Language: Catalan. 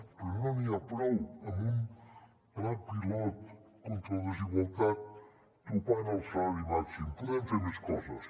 però no n’hi ha prou amb un pla pilot contra la desigualtat topant el salari màxim podem fer més coses